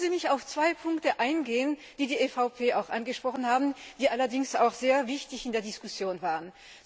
Lassen Sie mich auf zwei Punkte eingehen, die die EVP auch angesprochen hat, die allerdings auch sehr wichtig in der Diskussion waren.